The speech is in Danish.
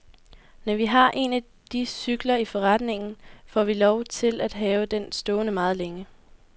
Når vi har en af de cykler i forretningen, får vi lov at have den stående meget længe.